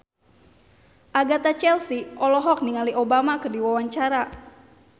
Agatha Chelsea olohok ningali Obama keur diwawancara